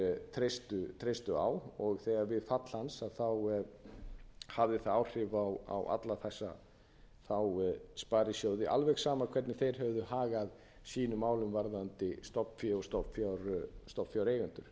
sparisjóðirnir treystu á og við fall hans hafði það áhrif á alla þessa sparisjóði alveg sama hvernig þeir höfðu hagað sínum málum varðandi stofnfé og stofnfjáreigendur